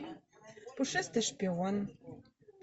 пушистый шпион